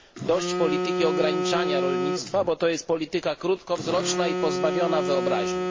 Dość polityki ograniczania rolnictwa, bo to jest polityka krótkowzroczna i pozbawiona wyobraźni.